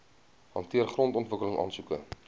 hanteer grondontwikkeling aansoeke